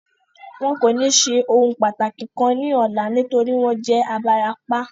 Wọn kò ní ṣe ohun pàtàkì kan ní ọlá nítorí wọ́n jẹ́ Ibarapa